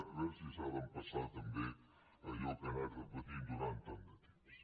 a veure si s’ha d’empassar també allò que ha anat repetint durant tant de temps